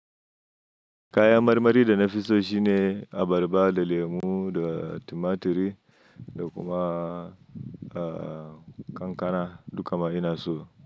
Kayan marmari da nafiso shine abarba da lemu da tumaturi da kuma kankana duk ma ina so.